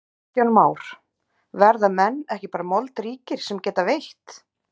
Kristján Már: Verða menn ekki bara moldríkir sem geta veitt?